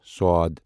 ص